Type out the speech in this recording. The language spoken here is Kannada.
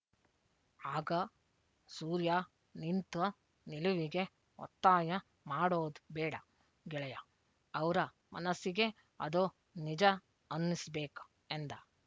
ಆಗ ಸೂರ್ಯ ನಿಂತ ನಿಲುವಿಗೆ ಒತ್ತಾಯ ಮಾಡೋದ್ ಬೇಡ ಗೆಳೆಯ ಅವ್ರ ಮನಸ್ಸಿಗೆ ಅ ದು ನಿಜ ಅನ್ನುಸ್ಬೇಕು ಎಂದ